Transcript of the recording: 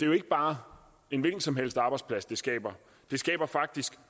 jo ikke bare en hvilken som helst arbejdsplads det skaber det skaber faktisk